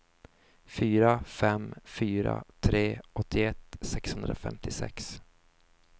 fyra fem fyra tre åttioett sexhundrafemtiosex